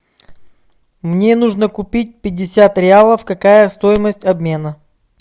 мне нужно купить пятьдесят реалов какая стоимость обмена